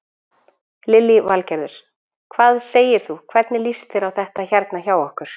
Lillý Valgerður: Hvað segir þú, hvernig líst þér á þetta hérna hjá okkur?